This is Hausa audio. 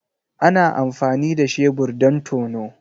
Ana amfani da shebur don tono.